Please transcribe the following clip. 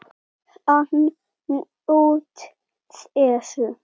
Hann naut þess.